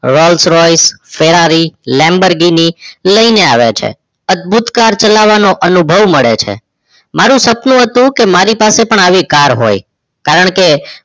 Rolls-Royce, Ferrari, Lamborghini લઇને આવે છે. અદ્ભુત car ચલાવાનો અનુભવ મળે છે. મારુ સપનું હતુ કે મારી પાસે પણ આવી car હોઇ. કારણ કે